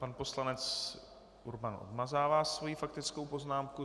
Pan poslanec Urban odmazává svoji faktickou poznámku.